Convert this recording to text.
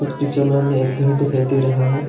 इस पिक्चर में हमें एक घर दिखाई दे रहा है।